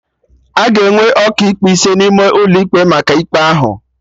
Aga enwe Ọkaikpe ise n'ime ụlọ ikpe maka ikpe ahụ